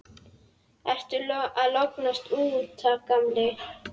Ertu að lognast út af, gamli?